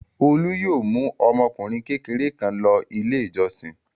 Olu yóò mú ọmọkùnrin kékeré náà lọ Ilé-ìjọsìn.